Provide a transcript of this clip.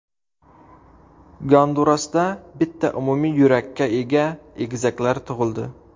Gondurasda bitta umumiy yurakka ega egizaklar tug‘ildi.